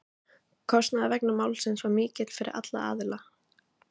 Kostnaður vegna málsins var mikill fyrir alla aðila.